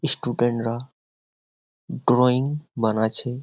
Student -রা drawing বানাচ্ছে।